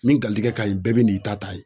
Min galijigɛ ka ɲi bɛɛ bɛ n'i ta ta yen.